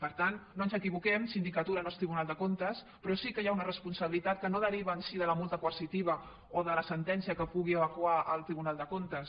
per tant no ens equivoquem sindicatura no és tribunal de comptes però sí que hi ha una responsabilitat que no deriva en si de la multa coercitiva o de la sentència que pugui evacuar el tribunal de comptes